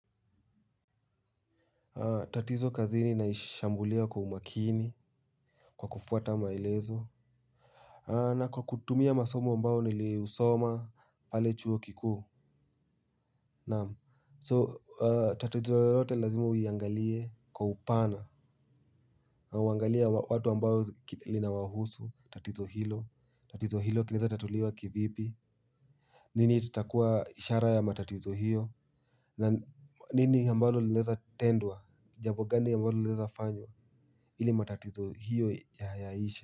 Tatizo kazini naishambulia kwa umakini. Kwa kufuata maelezo na kwa kutumia masomo ambao niliusoma pale chuo kikuu So tatizo yote lazima uiangalie kwa upana. Uangalie watu ambao linawahusu tatizo hilo, tatizo hilo kinaweza tatuliwa kivipi. Nini itakuwa ishara ya matatizo hiyo. Nini ambalo linaweza tendwa jambo gani ambalo linaweza fanywa ili matatizo hiyo ya yaishe.